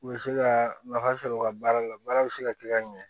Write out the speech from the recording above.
U bɛ se ka nafa sɔrɔ u ka baara la baara bɛ se ka kɛ ka ɲɛ